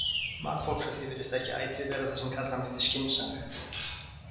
Mat fólks á því virðist ekki ætíð vera það sem kalla mætti skynsamlegt.